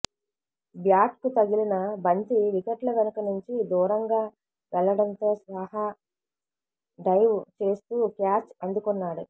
బ్యాట్కు తగిలిన బంతి వికెట్ల వెనుక నుంచి దూరంగా వెళ్లడంతో సాహా డైవ్ చేస్తూ క్యాచ్ అందుకున్నాడు